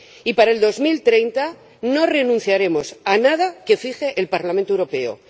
Y para 2030 no renunciaremos a nada que fije el Parlamento Europeo.